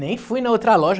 Nem fui na outra loja.